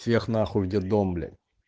всех нахуй в детдом бля